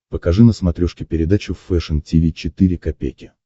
покажи на смотрешке передачу фэшн ти ви четыре ка